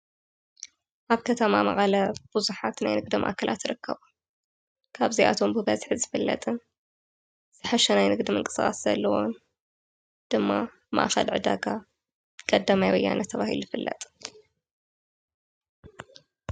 ኣብ ከተማ መቐለ ብዙሓት ናይ ንግድ ማእከላት ይርከቡ ካብዚኣቶም ብበዝሒ ዝፍለጥን ዝሓሸ ናይ ንግዲ ምንቅስቃስ ዘለዎ ድማ ማእኸል ዕዳጋ ቀዳማይ ወያነ ተባሂሉ ይፍለጥ።